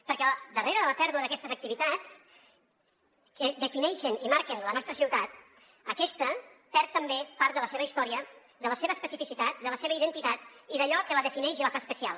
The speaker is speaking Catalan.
perquè darrere de la pèrdua d’aquestes activitats que defineixen i marquen la nostra ciutat aquesta perd també part de la seva història de la seva especificitat de la seva identitat i d’allò que la defineix i la fa especial